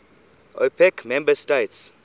opec member states